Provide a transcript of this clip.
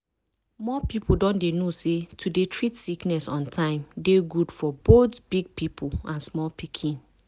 more people don dey know say to dey treat sickness on time dey good for both big people and small pikin.